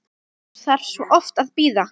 Maður þarf svo oft að bíða!